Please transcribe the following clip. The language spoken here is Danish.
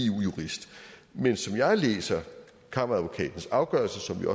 jurist men som jeg læser kammeradvokatens afgørelse som jo